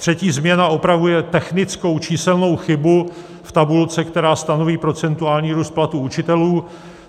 Třetí změna opravuje technickou číselnou chybu v tabulce, která stanoví procentuální růst platů učitelů.